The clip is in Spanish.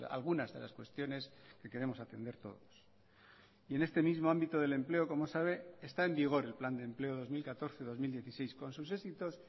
algunas de las cuestiones que queremos atender todos y en este mismo ámbito del empleo como sabe está en vigor el plan de empleo dos mil catorce dos mil dieciséis con sus éxitos